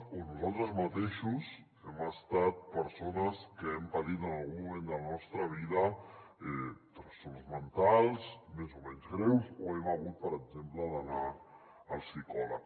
o nosaltres mateixos hem estat persones que hem patit en algun moment de la nostra vida trastorns mentals més o menys greus o hem hagut per exemple d’anar al psicòleg